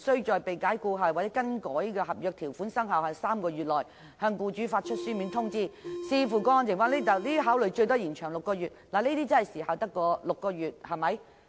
必須在被解僱後或被更改的合約條款生效後3個月內向僱主發出書面通知；如果有充分理由，勞工處處長可把限期再延長6個月。